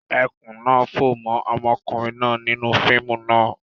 Ẹkùn náa fó mọ́ ọmọkùnrin náà nínú fíìmù náà.